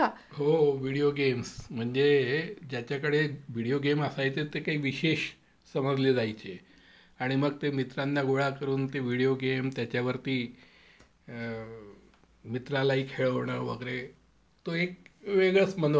हो. Video games म्हणजे ज्याच्याकडे व्हिडीओ गेम असायचा ते काही विशेषसमजले जायचे आणि मग ते मित्रांना गोळा करून ते व्हिडीओ गेम त्याच्यावरती अ मित्रालाही खेळवणं वगैरे, ते एक वेगळच मनोरंजन होतं ते.